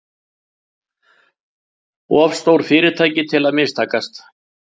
Of stór fyrirtæki til að mistakast